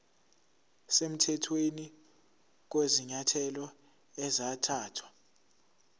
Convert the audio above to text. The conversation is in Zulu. semthethweni kwezinyathelo ezathathwa